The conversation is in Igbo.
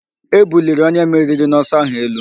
E buliri onye meriri n'ọsọ áhụ̀ elu.